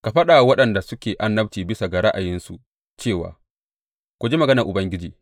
Ka faɗa wa waɗanda suke annabci bisa ga ra’ayinsu cewa, Ku ji maganar Ubangiji!